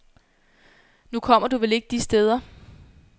Nu kommer du vel ikke de steder.